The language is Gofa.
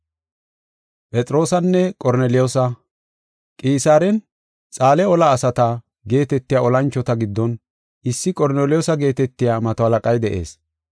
Qisaaren, “Xaale ola asata” geetetiya olanchota giddon issi Qorneliyoosa geetetiya mato halaqay de7ees.